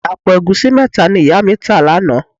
Àpò ẹ̀gúsí mẹ́ta ni ìyá mi tà lánàá